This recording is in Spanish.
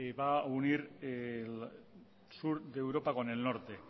va a unir sur de europa con el norte